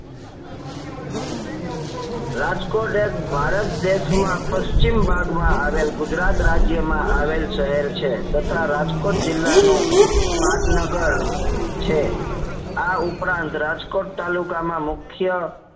રાજકોટ એક ભારત દેશ માં પશ્ચિમ ભાગ માં આવેલ ગુજરાત રાજ્ય માં આવેલ શહેર છે તથા રાજકોટ જીલ્લાનું પાટનગર છે આ ઉપરાંત રાજકોટ તાલુકા માં મુખ્ય